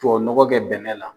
Tubabu nɔgɔ kɛ bɛnɛ la